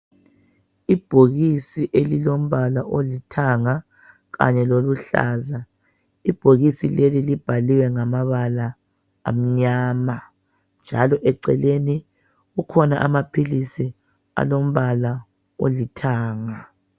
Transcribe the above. Ibhokisi elilombala olithanga kanye loluhlaza ibhokisi leli libhaliwe ngomabala amnyama. Njalo eceleni kukhona amaphilisi alombala olithanga.